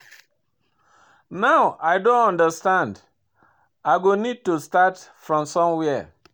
Now I don understand, I go need to start from somewhere.